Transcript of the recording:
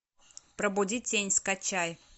пробудить тень скачай